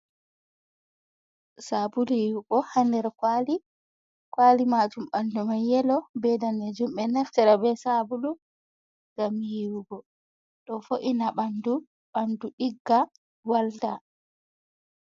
Sabulu yiwugo ha nder kuwali, kuwali majum ɓandu mai yelo be danejum, ɓeɗo naftira be sabulu ngam yiwugo ɗo vo’ina ɓandu, ɓandu ɗigga walta.